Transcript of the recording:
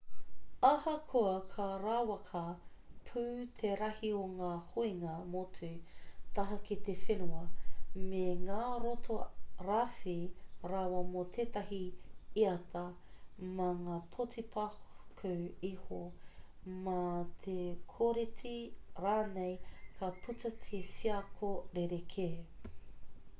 ahakoa ka rawaka pū te rahi o ngā huinga motu taha ki te whenua me ngā roto rawhi rawa mō tētahi iata mā ngā poti paku iho mā te kōreti rānei ka puta he wheako rerekē